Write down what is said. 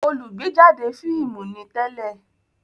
olùgbéjáde fíìmù ni tẹ́lẹ̀